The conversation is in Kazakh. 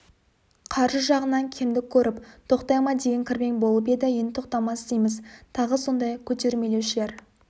қаржы жағынан кемдік көріп тоқтай ма деген кірбең болып еді енді тоқтамас дейміз тағы сондай көтермелеушілер